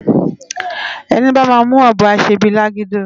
Eni bá má mú òbò á sé bi lágidó